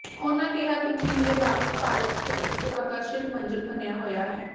ਉਨ੍ਹਾਂ ਕਿਹਾ ਕਿ ਚੀਨ ਦੇ ਬਾਵਜੂਦ ਭਾਰਤ ਇਕ ਆਕਰਸ਼ਕ ਮੰਜ਼ਲ ਬਣਿਆ ਹੋਇਆ ਹੈ